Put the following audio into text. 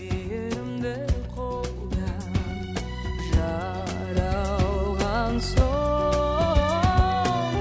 мейірімді қолда жаралған соң